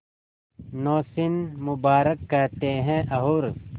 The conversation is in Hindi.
नौशीन मुबारक कहते हैं और